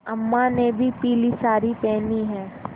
अम्मा ने भी पीली सारी पेहनी है